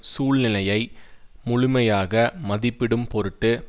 சூழ்நிலையை முழுமையாக மதிப்பிடும் பொருட்டு